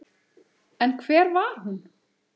En hver var hún?